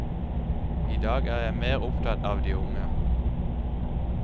I dag er jeg mer opptatt av de unge.